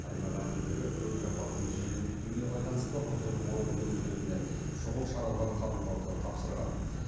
аймақ әкімдігі көлік апатының жиіліп кетуіне байланысты құзырлы орган өкілдеріне шұғыл шаралар қабылдауды тапсырған